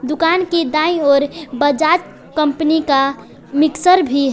दुकान के दाएं ओर बजाज कंपनी का मिक्सर भी है।